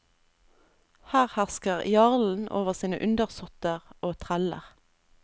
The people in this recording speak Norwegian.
Her hersker jarlen over sine undersotter og treller.